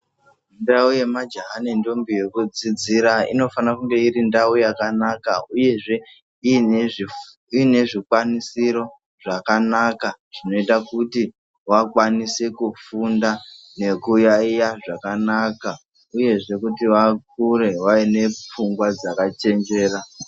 Ndau yemajaha nentombi yekudzidzira inofana kunge iri ndau yakanaka uyezve ine zvikwanisiro zvakanaka zvinoita kuti vakwanise kufunda nekuyaiya zvakanaka uyezve kuti vakure vaine pfungwa dzakachenjera.